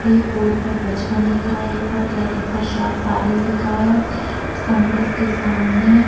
एक बोर्ड पर पचपन लिखा है एक पर कलकत्ता सा सारीस लिखा है उस कॉम्प्लेक्स के सामने --